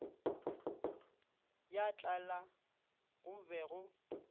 ya tlala go be go